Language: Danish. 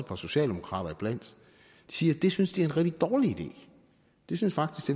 par socialdemokrater iblandt siger at det synes de rigtig dårlig idé de synes faktisk